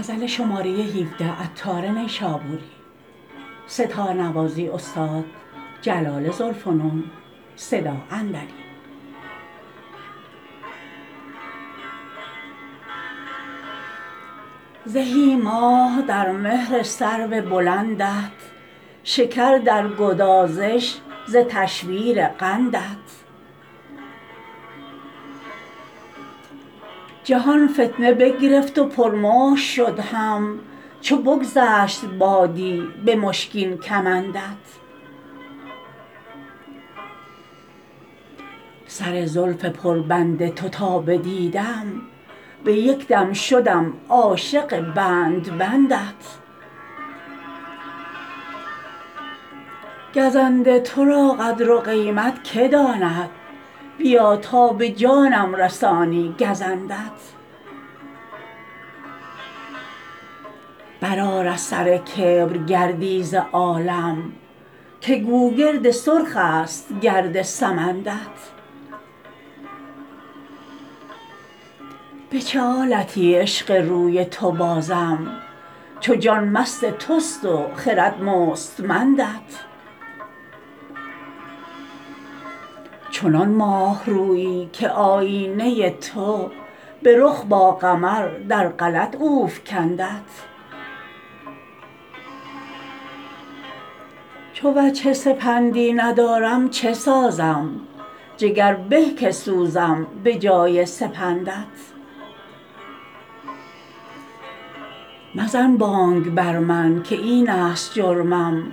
زهی ماه در مهر سرو بلندت شکر در گدازش ز تشویر قندت جهان فتنه بگرفت و پر مشک شد هم چو بگذشت بادی به مشکین کمندت سر زلف پر بند تو تا بدیدم به یک دم شدم عاشق بند بندت گزند تو را قدر و قیمت که داند بیا تا به جانم رسانی گزندت برآر از سر کبر گردی ز عالم که گوگرد سرخ است گرد سمندت به چه آلتی عشق روی تو بازم چو جان مست توست و خرد مستمندت چنان ماه رویی که آیینه تو به رخ با قمر در غلط او فکندت چو وجه سپندی ندارم چه سازم جگر به که سوزم به جای سپندت مزن بانگ بر من که این است جرمم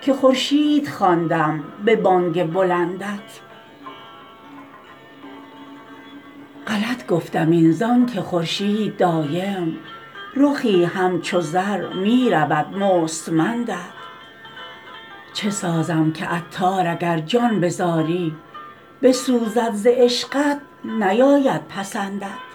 که خورشید خواندم به بانگ بلندت غلط گفتم این زانکه خورشید دایم رخی همچو زر می رود مستمندت چه سازم که عطار اگر جان به زاری بسوزد ز عشقت نیاید پسندت